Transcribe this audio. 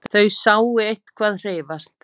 Þeir sáu eitthvað hreyfast.